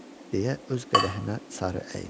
Deyə öz qədəhinə sarı əyildi.